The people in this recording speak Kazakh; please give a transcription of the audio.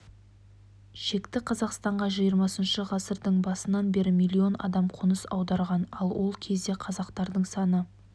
шекті қазақстанға жиырмасыншы ғасырдың басынан бері миллион адам қоныс аударған ал ол кезде қазақтардың саны